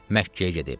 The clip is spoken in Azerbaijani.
Məkkəyə gedib.